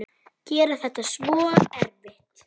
Gera þetta svona erfitt.